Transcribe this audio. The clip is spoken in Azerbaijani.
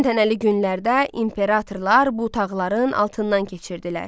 Təntənəli günlərdə imperatorlar bu tağların altından keçirdilər.